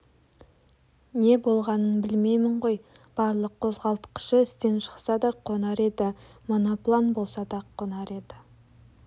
не болғанын білмеймін ғой барлық қозғалтқышы істен шықса да қонар еді моноплан болса да қонар еді